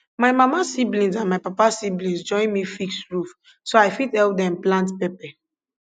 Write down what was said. my mama siblings and my papa siblings join me fix roof so i fit help them plant pepper